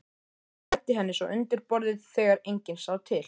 Læddi henni svo undir borðið þegar enginn sá til.